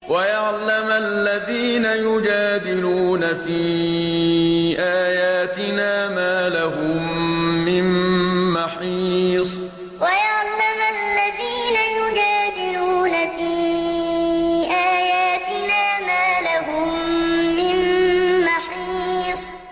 وَيَعْلَمَ الَّذِينَ يُجَادِلُونَ فِي آيَاتِنَا مَا لَهُم مِّن مَّحِيصٍ وَيَعْلَمَ الَّذِينَ يُجَادِلُونَ فِي آيَاتِنَا مَا لَهُم مِّن مَّحِيصٍ